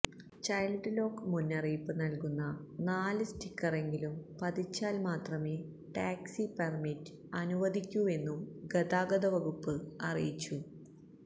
child lock മുന്നറിയിപ്പ് നല്കുന്ന നാല് സ്റ്റിക്കറെങ്കിലും പതിച്ചാല് മാത്രമേ ടാക്സി പെര്മിറ്റ് അനുവദിക്കൂവെന്നും ഗതാഗത വകുപ്പ് അറിയിച്ചു